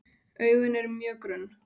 Augun eru mjög grunn.